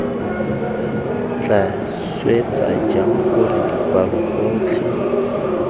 tla swetsa jang gore dipalogotlhe